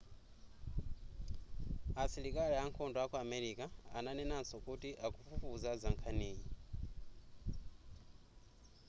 asilikali ankhondo aku america ananenanso kuti akufufuza za nkhaniyi